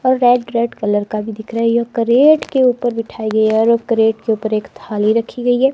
और red red colour का भी दिख रहा है यह करेट के ऊपर बैठाई गयी है और एक करेट के ऊपर एक थाली रखी गयी है।